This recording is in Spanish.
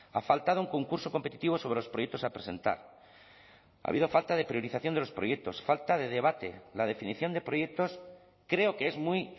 ha faltado un concurso competitivo sobre los proyectos a presentar ha habido falta de priorización de los proyectos falta de debate la definición de proyectos creo que es muy